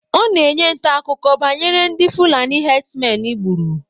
Ọ na-enye ntaakụkọ banyere ndị fulani hedsmen gburu